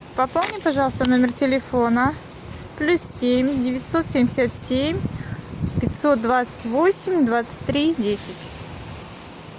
пополни пожалуйста номер телефона плюс семь девятьсот семьдесят семь пятьсот двадцать восемь двадцать три десять